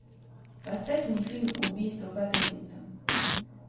поставь мне фильм убийства по пятницам